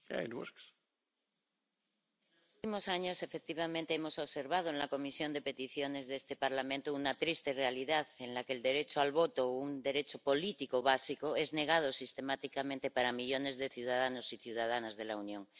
Señor presidente, en los últimos años, efectivamente, hemos observado en la Comisión de Peticiones de este Parlamento una triste realidad, en la que el derecho al voto, un derecho político básico, es negado sistemáticamente a millones de ciudadanos y ciudadanas de la Unión.